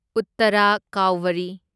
ꯎꯠꯇꯥꯔꯥ ꯀꯥꯎꯚꯔꯤ